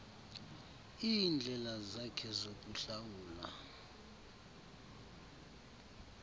iindlela zakhe zokuhlawula